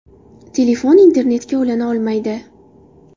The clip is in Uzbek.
Telefon internetga ulana olmaydi.